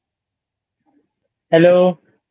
Hello